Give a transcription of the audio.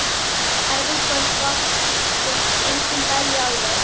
Erfið kvöldvakt, þótt enginn dæi alveg.